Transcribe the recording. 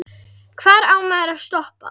Hvar á maður að stoppa?